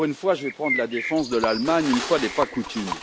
Je vais prendre la défense de l'Allemagne, une fois n'est pas coutume.